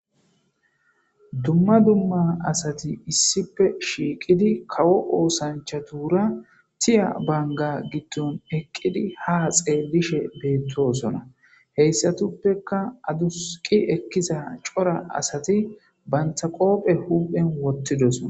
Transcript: Dumma dumma asati issipPe shiiqidi kawo oosanchatuura tiya bangga giddon eqqidi ha xeellishe beettoosona. Heyssatuppeka adusqi ekkiza cora asati bantta qoophe huphen wottidoson.